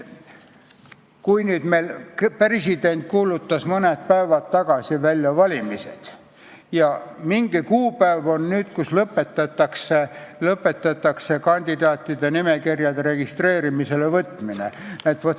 President kuulutas mõned päevad tagasi valimised välja ja nüüd on mingi kuupäev, kui lõpetatakse kandidaatide nimekirjade registreerimisele võtmine.